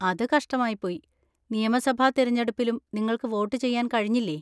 അത് കഷ്ടമായിപ്പോയി. നിയമസഭാ തിരഞ്ഞെടുപ്പിലും നിങ്ങൾക്ക് വോട്ട് ചെയ്യാൻ കഴിഞ്ഞില്ലേ?